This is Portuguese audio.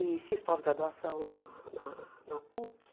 E fiz pós-graduação lá na na na PUC.